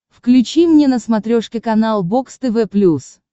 включи мне на смотрешке канал бокс тв плюс